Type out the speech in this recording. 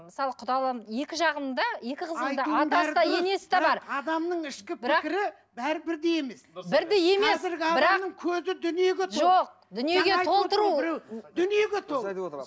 мысалы құдалығым екі жағымда екі қызым да адамның ішкі пікірі бәрі бірдей емес